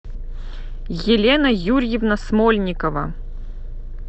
елена юрьевна смольникова